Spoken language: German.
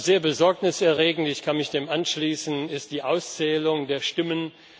Sehr besorgniserregend ich kann mich dem anschließen ist die Auszählung der Stimmen.